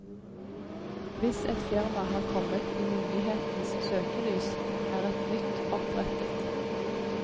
Hvis et firma har kommet i myndighetenes søkelys, er et nytt opprettet.